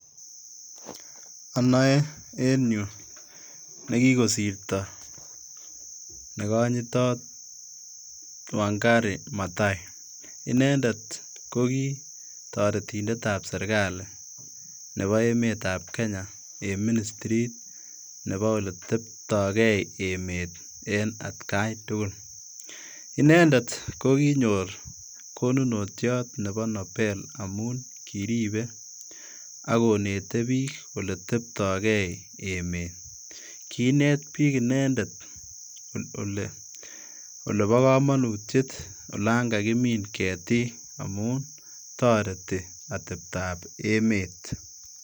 Onoe en yu nekikosirto negonyitot Wangai Maathai, inendet kogi toretindetab serkali nebo emetab Kenya en ministrit nebo oleteptogei emet en atkaitugul, inendet kokinyor konunotiot nebo Nobel amun kiripe ak konete bik oleteptogei emet kinet bik inendet kole bo komonutiet olon kakimin ketik amun toreti oteptab emet.